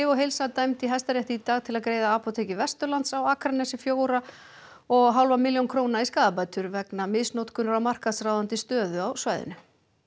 og heilsa dæmd í Hæstarétti í dag til að greiða apóteki Vesturlands á Akranesi fjóra og hálfa milljón króna í skaðabætur vegna misnotkunar á markaðsráðandi stöðu á svæðinu